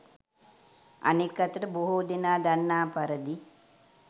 අනෙක් අතට බොහෝ දෙනා දන්නා පරිදි